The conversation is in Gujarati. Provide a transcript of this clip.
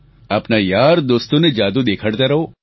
આપના યારદોસ્તોને જાદુ દેખાડતા રહો